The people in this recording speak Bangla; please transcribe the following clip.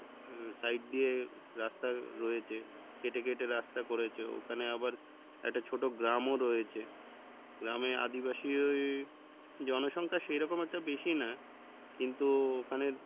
আহ side দিয়ে রাস্তা রয়েছে কেটে কেটে রাস্তা করেছে ওখানে আবার একটা ছোটো গ্রামও রয়েছে গ্রামে আদিবাসী ওই জনসংখ্যা সেরকম একটা বেশি না কিন্তু ওখানের,